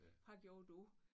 Hvad gjorde du?